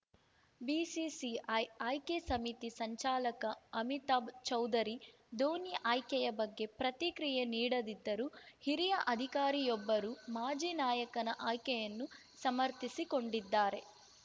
BCCI ಆ ಆಯ್ಕೆ ಸಮಿತಿ ಸಂಚಾಲಕ ಅಮಿತಾಭ್‌ ಚೌಧರಿ ಧೋನಿ ಆಯ್ಕೆಯ ಬಗ್ಗೆ ಪ್ರತಿಕ್ರಿಯೆ ನೀಡದಿದ್ದರೂ ಹಿರಿಯ ಅಧಿಕಾರಿಯೊಬ್ಬರು ಮಾಜಿ ನಾಯಕನ ಆಯ್ಕೆಯನ್ನು ಸಮರ್ಥಿಸಿಕೊಂಡಿದ್ದಾರೆ